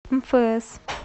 мфс